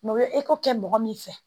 o bɛ kɛ mɔgɔ min fɛ